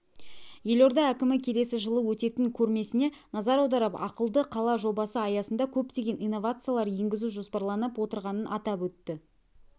елорда әкімі келесі жылы өтетін көрмесіне назар аударып ақылды қала жобасы аясында көптеген инновациялар енгізу жоспарланып отырғанын атап өтті